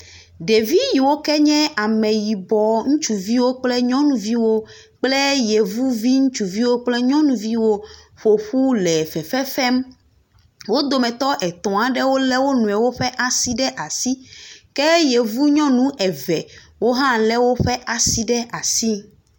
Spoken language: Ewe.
Ɖevi yi wo ke nye ame yibɔ, ŋutsuviwo kple nyɔnuviwo kple yevuvi ŋutsuviwo kple nyɔnuviwo ƒoƒu le fefefem. Wo dometɔ etɔ aɖewo le wonɔewo ƒe asi ɖe asi. Ke yevu nyɔnu eve wo hã le woƒe asi ɖe asi.